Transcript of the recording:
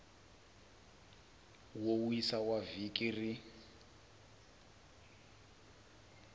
wo wisa wa vhiki rin